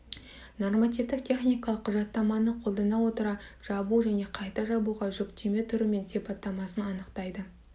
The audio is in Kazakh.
нормативтік техникалық құжаттаманы қолдана отыра жабу және қайта жабуға жүктеме түрі мен сипаттамасын анықтайды